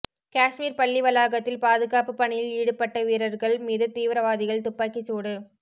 காஷ்மீர் பள்ளி வளாகத்தில் பாதுகாப்பு பணியில் ஈடுபட்ட வீரர்கள் மீது தீவிரவாதிகள் துப்பாக்கிக்சூடு